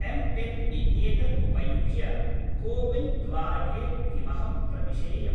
MPIN इत्येतत् उपयुज्य CoWIN द्वारके किमहं प्रविशेयम्?